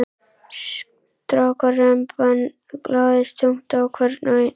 Strákaremban lagðist þungt á hvern og einn.